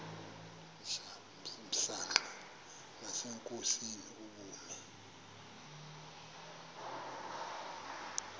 msanqa nasenkosini ubume